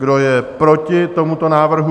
Kdo je proti tomuto návrhu?